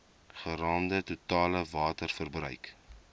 geraamde totale waterverbruik